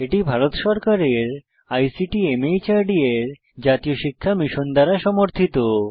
এটি ভারত সরকারের আইসিটি মাহর্দ এর জাতীয় শিক্ষা মিশন দ্বারা সমর্থিত